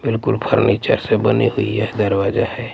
बिल्कुल फर्नीचर से बनी हुई यह दरवाजा हैं।